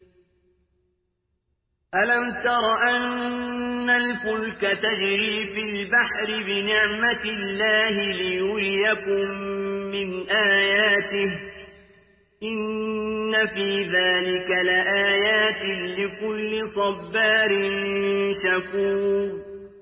أَلَمْ تَرَ أَنَّ الْفُلْكَ تَجْرِي فِي الْبَحْرِ بِنِعْمَتِ اللَّهِ لِيُرِيَكُم مِّنْ آيَاتِهِ ۚ إِنَّ فِي ذَٰلِكَ لَآيَاتٍ لِّكُلِّ صَبَّارٍ شَكُورٍ